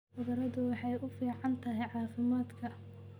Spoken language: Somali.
Khudradu waxay u fiican tahay caafimaadka.